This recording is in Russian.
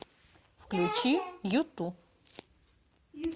включи юту